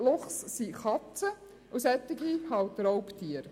Luchse sind Katzen und daher Raubtiere.